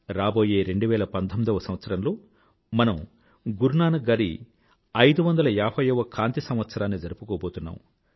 రాబోయే 2019వ సంవత్సరంలో మనం గురునానక్ గారి 550వ కాంతి సంవత్సరాన్ని జరుపుకోబోతున్నాం